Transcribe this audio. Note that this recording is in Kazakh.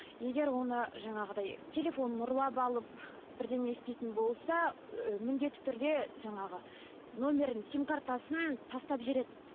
егер оны жаңағыдай телефонын ұрлап алып бірдеңе істейтін болса ы міндетті түрде жаңағы номерін сим картасын тастап жібереді